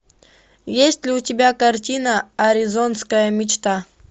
есть ли у тебя картина аризонская мечта